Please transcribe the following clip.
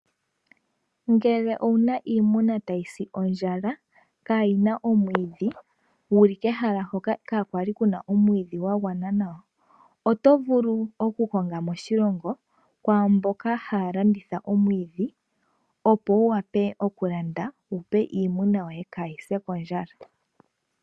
Ngele owu na iimuna tayi si ondjala kaa yi na omwiidhi wuli kehala hoka ka kwali kuna omwiidhi gwa gwana nawa. Oto vulu okukonga moshilongo kwaamboka haya landitha omwiidhi opo wu wape okulanda wu pe iimuna yoye ka yi se kondjala.